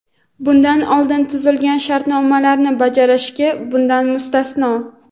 bundan oldin tuzilgan shartnomalarni bajarish bundan mustasno.